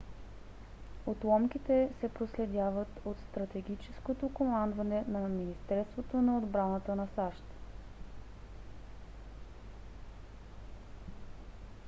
отломките се проследяват от стратегическото командване на министерството на отбраната на сащ